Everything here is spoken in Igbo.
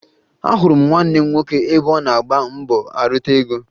Ahụrụ m nwanne m nwoke ebe ọ na-agba mbọ arụta ego